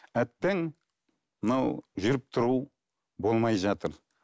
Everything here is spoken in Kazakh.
әттең мынау жүріп тұру болмай жатыр